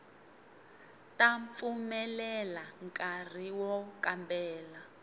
ta pfumelela nkari wo kambela